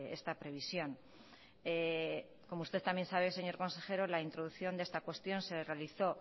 esta previsión como usted también sabe señor consejero la introducción de esta cuestión se realizó